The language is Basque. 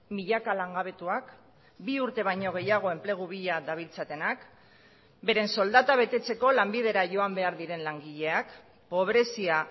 milaka langabetuak bi urte baino gehiago enplegu bila dabiltzatenak beren soldata betetzeko lanbidera joan behar diren langileak pobrezia